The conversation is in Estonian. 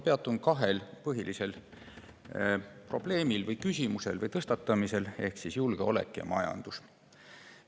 Peatun kahel põhilisel probleemil või küsimusel ehk julgeolekul ja majandusel.